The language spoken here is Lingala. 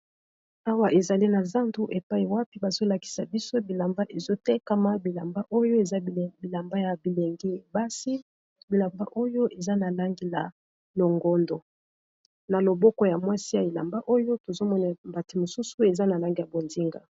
Awa, ezali na zandu epai wapi bazo lakisa biso bilamba ezo tekama. Bilamba oyo eza bilamba ya bilengi basi. Bilamba oyo, eza na langi ya longondo. Na loboko ya mwasi ya elamba oyo, tozo mona mbati mosusu pe eza na langi ya bonsinga.